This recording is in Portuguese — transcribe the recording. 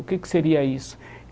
O que que seria isso?